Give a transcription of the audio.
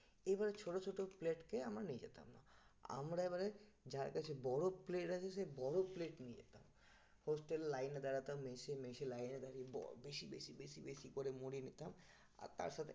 এবার ছোট ছোট plate কে আমরা নিয়ে যেতাম আমরা এবারে যার কাছে বড় plate আছে সে বড় plate নিয়ে যেতাম hostel line এ দাঁড়াতাম মেসে মেসে লাইনে দাঁড়িয়ে বেশি বেশি বেশি বেশি করে মুড়ি নিতাম আর তার সাথে